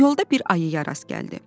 Yolda bir ayıya rast gəldi.